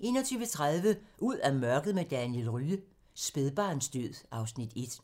21:30: Ud af mørket med Daniel Rye - Spædbarnsdød (Afs. 1)